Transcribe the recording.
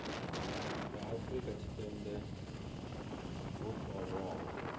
vha afrika tshipembe vho farwaho